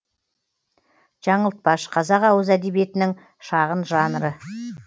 жаңылтпаш қазақ ауыз әдебиетінің шағын жанры